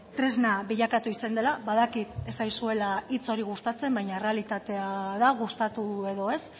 tresna bilakatu izan dela badakit ez zaizuela hitz hori gustatzen baina errealitatea da gustatu edo ez